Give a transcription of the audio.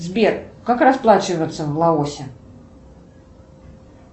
сбер как расплачиваться в лаосе